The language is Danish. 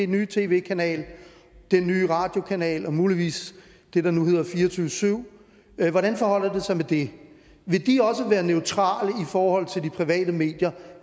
nye tv kanal den nye radiokanal og muligvis det der nu hedder 24syv hvordan forholder det sig med det vil de også være neutrale i forhold til de private medier